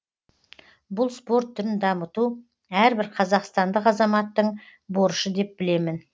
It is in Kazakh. бұл спорт түрін дамыту әрбір қазақстандық азаматтың борышы деп білемін